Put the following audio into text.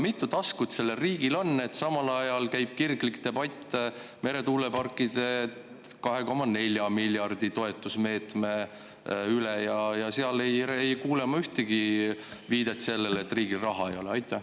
Kui mitu taskut sellel riigil on, kui samal ajal käib kirglik debatt meretuuleparkide 2,4 miljardi suuruse toetusmeetme üle, aga seal ei kuule ma ühtegi viidet sellele, et riigil raha ei ole?